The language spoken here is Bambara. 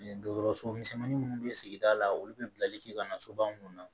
Dɔgɔtɔrɔso misɛnmanin minnu bɛ sigida la olu bɛ bilali kɛ ka na soba minnu na